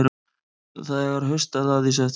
Þegar haustaði að í september